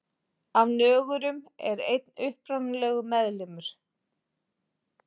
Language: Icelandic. Af nögurum er einn upprunalegur meðlimur.